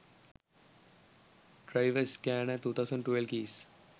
driver scanner 2012 keys